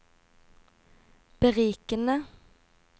berikende